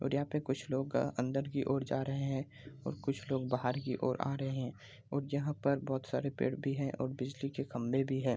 और यहाँ कुछ लोग अंदर की ओर जा रहे हैं और कुछ लोग बाहर की ओर आ रहे हैं यहाँ पे बहुत सारे पेड़ भी हैं और बिजली के खम्बे भी हैं।